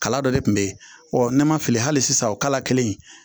Kala dɔ de tun bɛ yen ɔ ne ma fili hali sisan o kala kelen in